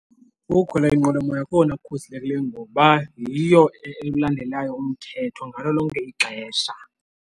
Ukukhwela inqwelomoya kukona kukhuselekileyo ngoba yiyo elandelayo umthetho ngalo lonke ixesha.